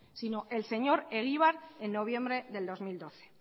sino el señor egibar en noviembre del dos mil doce